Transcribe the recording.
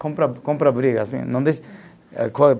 Comprar, comprar briga assim não